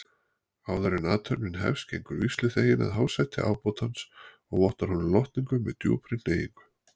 Áðuren athöfnin hefst gengur vígsluþeginn að hásæti ábótans og vottar honum lotningu með djúpri hneigingu.